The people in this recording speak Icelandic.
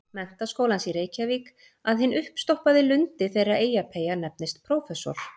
Menntaskólans í Reykjavík- að hinn uppstoppaði lundi þeirra Eyjapeyja nefnist prófessor.